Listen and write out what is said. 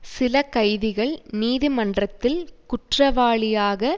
சில கைதிகள் நீதிமன்றத்தில் குற்றவாளியாக